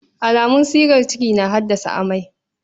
Alamun shigar ciki na haddasa amai.